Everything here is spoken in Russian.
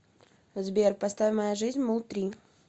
сбер поставь моя жизнь муллтри